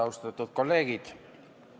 Austatud kolleegid!